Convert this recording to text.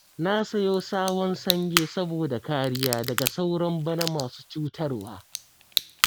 Na sayo sabon sange saboda kariya daga sauron bana masu cutarwa